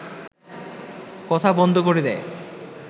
কথা বন্ধ করে দেয়